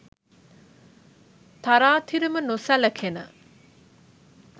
තරාතිරම නොසැලකෙන